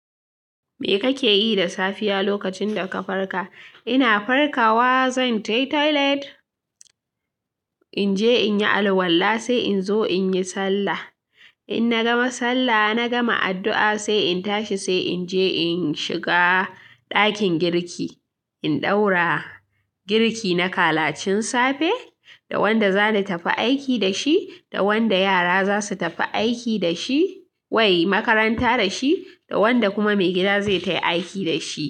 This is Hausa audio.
Me kake yi da safiya lokacin da ka farka? Ina farka wa zanje toilet, in je in yi alwala sai in zo in yi sallah. In na gama sallah na gama addu'a sai in tashi sai in je in shiga ɗakin girki. In ɗaura girki na kalacin safe da wanda za na tafi aiki da shi, da wanda yara za su tafi aiki da shi, wai makaranta da shi, da wanda kuma maigida zai tafi aiki da shi.